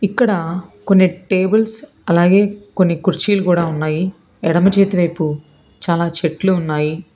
ఇక్కడ కొన్ని టేబుల్స్ అలాగే కొన్ని కుర్చీలు కూడా ఉన్నాయి ఎడమ చేతి వైపు చాలా చెట్లు ఉన్నాయి.